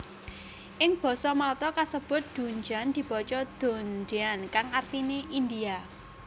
Ing basa Malta kasebut dundjan dibaca dondyan kang artiné India